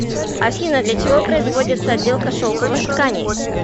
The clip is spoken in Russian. афина для чего производится отделка шелковых тканей